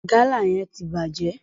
Gala yẹn ti bàjẹ́.